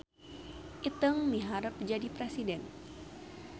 Iteung miharep jadi presiden